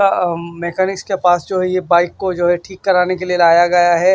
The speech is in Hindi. अ मैकेनिक्स के पास जो है ये बाइक को जो है ठीक कराने के लिए लाया गया है।